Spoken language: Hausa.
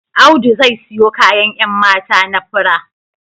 Audu zai siyo kayan 'yan mata na fura